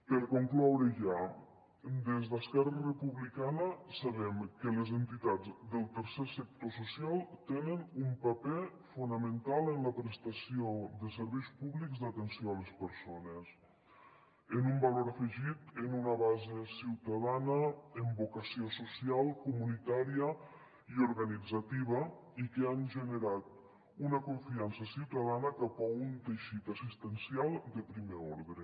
per concloure ja des d’esquerra republicana sabem que les entitats del tercer sector social tenen un paper fonamental en la prestació de serveis públics d’atenció a les persones amb un valor afegit amb una base ciutadana amb vocació social comunitària i organitzativa i que han generat una confiança ciutadana cap a un teixit assistencial de primer ordre